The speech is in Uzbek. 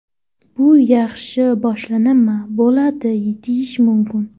Bu yaxshi boshlanma bo‘ldi deyish mumkin.